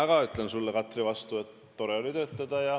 Mina ütlen sulle, Katri, vastu, et tore oli koos töötada.